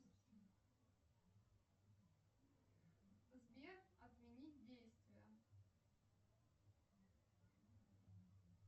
сбер отменить действие